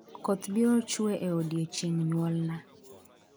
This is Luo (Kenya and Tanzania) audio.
koth biro chwe e odiechieng' nyuolna